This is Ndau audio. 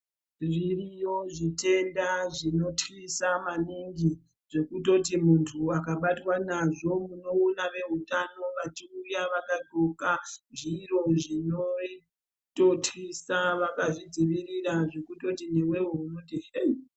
Zviriyo zvitenda zvinotwisa maningi zvokutoti muntu akabatwa nazvo unoona veutano vachiuya vakahloka zviro zvinototwisa vakazvidzivirira, zvekutoti nevevo unoti hei.